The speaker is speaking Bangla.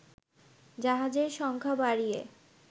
জাহাজের সংখ্যা বাড়িয়ে